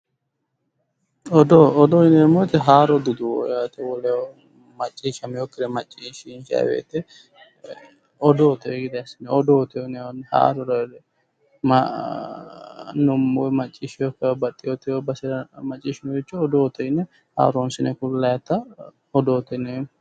Odoo, odoo yinneemmo woyte haaro duduwo yaate Woleho macciishshaminokkire maccishshanni woyte odoote yinnanni, odoo haarore macciishshinokkihura haarote yinne ku'lannitta odoote yinneemmo